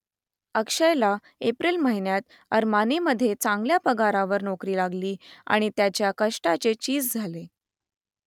अक्षयला एप्रिल महिन्यात अरमानीमध्ये चांगल्या पगारावर नोकरी लागली आणि त्याच्या कष्टाचे चीज झाले